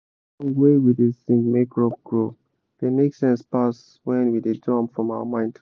song wey we da sing make crop grow da make sense pass wen we do am from our mind